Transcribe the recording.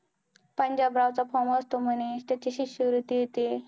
पंजाबराव च form असतो म्हणे तेच शिष्यवृत्ती, ते